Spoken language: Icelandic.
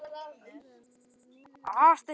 Er það þetta, sem þú ert að gefa í skyn?